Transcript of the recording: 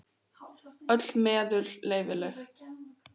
Öll meðul leyfileg.